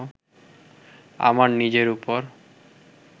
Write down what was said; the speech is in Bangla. আমার নিজের ওপর